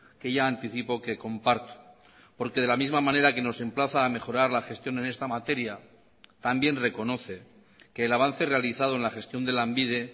que ya anticipo que comparto porque de la misma manera que nos emplaza a mejorar la gestión en esta materia también reconoce que el avance realizado en la gestión de lanbide